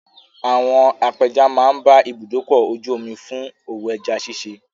Àwọn apẹja máa ń bá ibùdókọ̀-ojú-omi fún òwò ẹja ṣiṣẹ́.